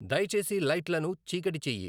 దయచేసి లైట్లను చీకటి చెయ్యి